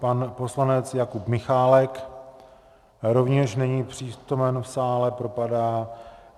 Pan poslanec Jakub Michálek rovněž není přítomen v sále, propadá.